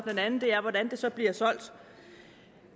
anden er hvordan det så bliver solgt